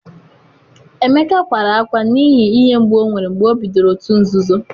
emeka kwara akwa n’ihi ihe mgbu o nwere mgbe o bidoro òtù nzuzo